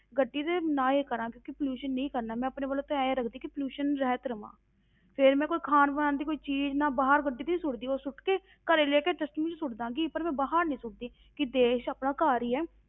ਗੱਡੀ ਦਾ ਨਾ ਹੀ ਕਰਾਂ ਕਿਉਂਕਿ pollution ਨਹੀਂ ਕਰਨਾ, ਮੈਂ ਆਪਣੇ ਵੱਲੋਂ ਤੇ ਇਉਂ ਰੱਖਦੀ ਕਿ pollution ਰਹਿਤ ਰਹਾਂ, ਫਿਰ ਮੈਂ ਕੋਈ ਖਾਣ ਬਣਾਉਣ ਦੀ ਕੋਈ ਚੀਜ਼ ਮੈਂ ਬਾਹਰ ਕਦੇ ਨੀ ਸੁੱਟਦੀ ਉਹ ਸੁੱਟ ਕੇ ਘਰੇ ਲੈ ਕੇ dustbin ਵਿੱਚ ਸੁੱਟ ਦੇਵਾਂਗੀ, ਪਰ ਮੈਂ ਬਾਹਰ ਨੀ ਸੁੱਟਦੀ ਕਿ ਦੇਸ ਆਪਣਾ ਘਰ ਹੀ ਹੈ,